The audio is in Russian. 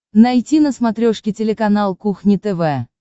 найти на смотрешке телеканал кухня тв